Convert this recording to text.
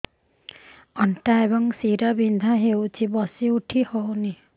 ଅଣ୍ଟା ଏବଂ ଶୀରା ବିନ୍ଧା ହେଉଛି ବସି ଉଠି ହଉନି